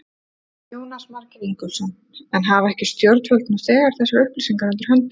Jónas Margeir Ingólfsson: En hafa ekki stjórnvöld nú þegar þessar upplýsingar undir höndum?